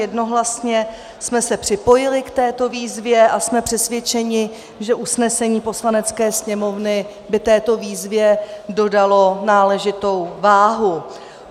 Jednohlasně jsme se připojili k této výzvě a jsme přesvědčeni, že usnesení Poslanecké sněmovny by této výzvě dodalo náležitou váhu.